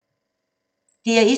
DR1